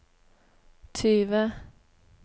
tyve